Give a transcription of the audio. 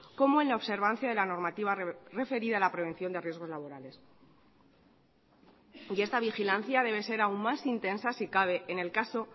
como en la observancia de la normativa referida a la prevención de riesgos laborales y esta vigilancia debe ser aún más intensa si cabe en el caso